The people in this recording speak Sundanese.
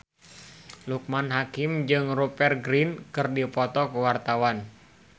Loekman Hakim jeung Rupert Grin keur dipoto ku wartawan